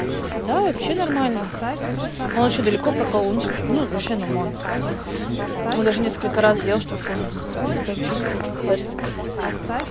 да вообще нормально он ещё далеко проколол ну типа как вообще нормально он даже несколько раз делал чтобы кожу зацепить это вообще персик